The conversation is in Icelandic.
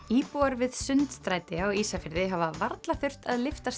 íbúar við Sundstræti á Ísafirði hafa varla þurft að lyfta